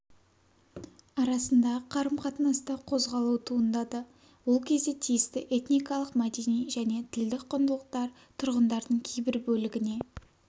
арасындағы қарым-қатынаста қозғалу туындады ол кезде тиісті этникалық мәдени және тілдік құндылықтар тұрғындардың кейбір бөлігіне